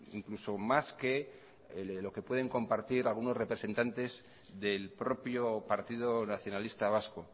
incluso más que lo que pueden compartir algunos representantes del propio partido nacionalista vasco